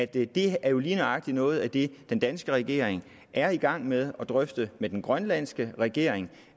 det er jo lige nøjagtig noget af det den danske regering er i gang med at drøfte med den grønlandske regering